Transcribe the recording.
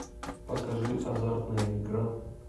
покажи азартная игра